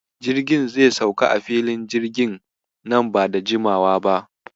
Jirgin zai sauka a Filin jirgin na ba da jimawa ba.